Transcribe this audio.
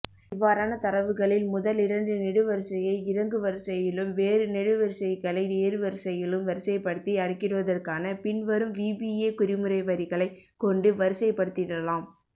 இவ்வாறான தரவுகளில் முதலிரண்டு நெடுவரிசையை இறங்குவரிசையிலும் வேறு நெடுவரிசைகளை ஏறுவரிசையிலும் வரிசைபடுத்தி அடுக்கிடுவதற்காக பின்வரும் விபிஏகுறிமுறைவரிகளை கொண்டு வரிசைபடுத்திடலாம்